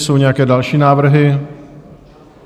Jsou nějaké další návrhy?